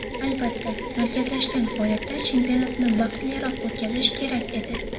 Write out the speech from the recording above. Albatta, markazlashgan holatda chempionatni vaqtliroq o‘tkazish kerak edi.